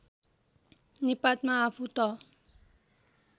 निपातमा आफू त